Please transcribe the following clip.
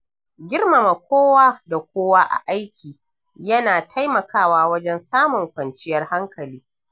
Girmama kowa da kowa a aiki yana taimakawa wajen samun ƙwanciyar hankali.